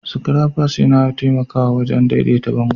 Scrappers yana taimakawa wajen daidaita bango